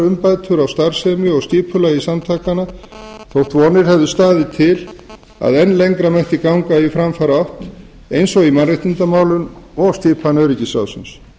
umbætur á starfsemi og skipulagi samtakanna þótt vonir hefðu staðið til að enn lengra mætti ganga í framfaraátt eins og í mannréttindamálum og skipan öryggisráðsins